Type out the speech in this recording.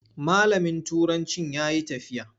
Malamin turancin ya yi tafiya.